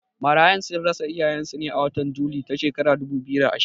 Marayun sun rasa iyayen su a watan Juni ta shekara ta dubu biyu da ashirin